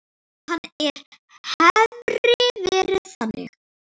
Ef hann hefði verið þannig.